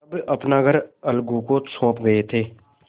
तब अपना घर अलगू को सौंप गये थे